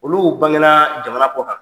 Olu bange na jamana kɔ kan.